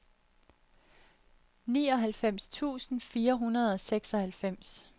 nioghalvfems tusind fire hundrede og seksoghalvfems